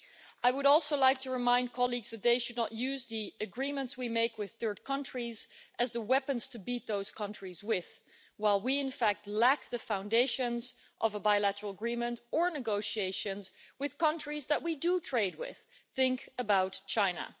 I would also like to remind colleagues that they should not use the agreements we make with third countries as the weapons to beat those countries with, while we in fact lack the foundations of a bilateral agreement or negotiations with countries that we do trade with think about China.